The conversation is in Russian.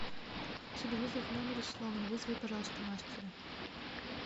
телевизор в номере сломан вызови пожалуйста мастера